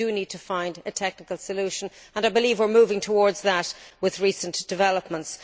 We do need to find a technical solution and I believe we are moving towards that with recent developments.